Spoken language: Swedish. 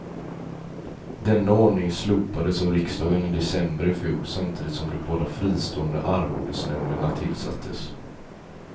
Denna ordning slopades av riksdagen i december ifjol samtidigt som de båda fristående arvodesnämnderna tillsattes.